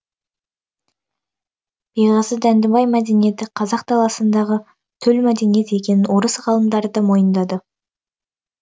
беғазы дәндібай мәдениеті қазақ даласындағы төл мәдениет екенін орыс ғалымдары да мойындады